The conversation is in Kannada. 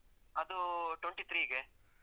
ಅದು twenty three ಗೆ.